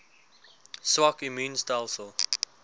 swak immuun stelsels